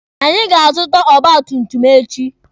Anyị ga-azụta ọgba tum tum echi.